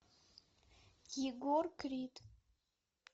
егор крид